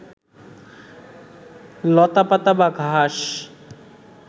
লতাপাতা বা ঘাস